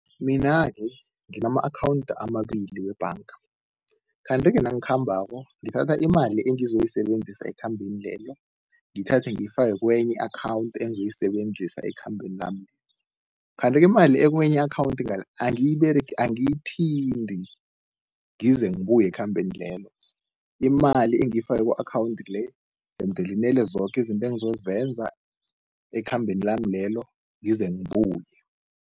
Mina-ke nginana-akhawundi amabili webhanga kanti-ke nangikhambako, ngithatha imali engizoyisebenzisa ekhambeni lelo. Ngiyithathe ngiyifake kwenye i-akhawundi engizoyisebenzisa ekhambeni lami kanti-ke imali ekwenye i-akhawundi ngale, angiyiberegi, angiyithinti ngize ngibuye ekhambeni lelo. Imali engiyifake ku-akhawundi le, jemdele inele yoke izinto engizozenza ekhambeni lami lelo, ngize ngibuye.